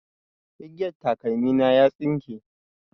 Igiyan takalmi na ya tsinke